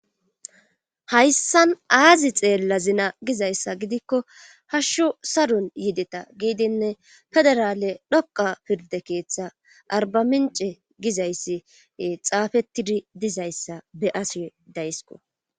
hayssan aazi xeella zina gizayssa gidikko hashshu saron yideta giidinne federaale dhoqa pirde keeththa arbamince gizayssi xaafettidi dizayssa be-ase daysko